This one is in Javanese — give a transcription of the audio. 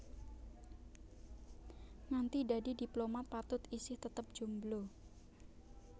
Nganti dadi diplomat Patut isih tetep jomblo